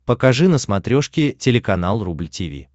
покажи на смотрешке телеканал рубль ти ви